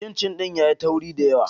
Cincin ɗin yayi tauri da yawa